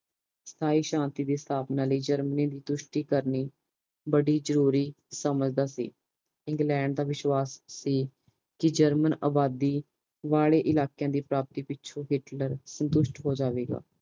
ਸਥਾਈ ਸ਼ਾਂਤੀ ਦੀ ਸਥਾਪਨਾ ਲਈ ਜਰਮਨੀ ਦੀ ਸੰਤੁਸ਼ਟੀ ਕਰਨੀ ਬੜੀ ਜਰੂਰੀ ਸਮ੍ਜਦਾ ਸੀ ਇੰਗਲੈਂਡ ਦਾ ਵਿਸ਼ਵਾਸ਼ ਸੀ ਕੇ ਜਰਮਨ ਦੀ ਅਬਾਦੀ ਵਾਲੇ ਇਲਾਕਿਆਂ ਦੀ ਪਰਪਤੀ ਪਿੱਛੋਂ ਹਿਟਲਰ ਸੰਤੁਸ਼ਟ ਹੋ ਜਾਵੇਗਾ